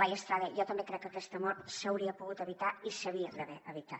laia estrada jo també crec que aquesta mort s’hauria pogut evitar i s’hauria d’haver evitat